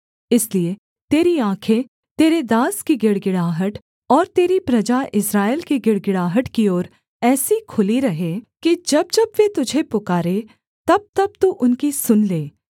इसलिए तेरी आँखें तेरे दास की गिड़गिड़ाहट और तेरी प्रजा इस्राएल की गिड़गिड़ाहट की ओर ऐसी खुली रहें कि जब जब वे तुझे पुकारें तबतब तू उनकी सुन ले